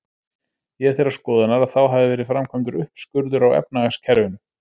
Ég er þeirrar skoðunar, að þá hafi verið framkvæmdur uppskurður á efnahagskerfinu.